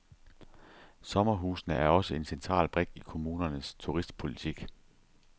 Sommerhusene er også en central brik i kommunernes turistpolitik.